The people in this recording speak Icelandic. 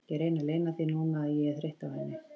Ég reyni að leyna því núna að ég er þreytt á henni.